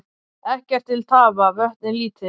Ekkert til tafa, vötnin lítil.